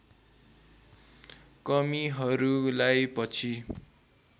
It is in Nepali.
कमीहरूलाई पछि